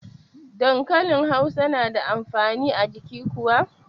Dankanli hausa na da amfani a jiki kuwa?